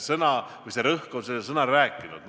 Ja rõhk on sõnal "rääkinud".